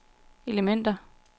elementer